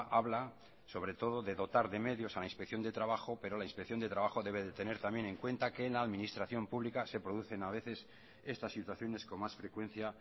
habla sobre todo de dotar de medios a la inspección de trabajo pero la inspección de trabajo debe de tener también en cuenta que en la administración pública se producen a veces estas situaciones con más frecuencia